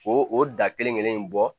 O o da kelen kelen in bɔ